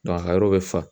a yɔrɔ bɛ fa